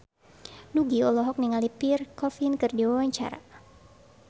Nugie olohok ningali Pierre Coffin keur diwawancara